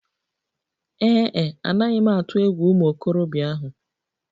Ee e, anaghị m atụ egwu ụmụ okorobịa ahụ.